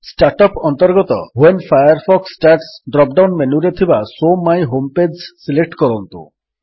start up ରେ ଅନ୍ତର୍ଗତ when Firefox starts drop down ମେନୁରେ ଥିବା show my home page select କରନ୍ତୁ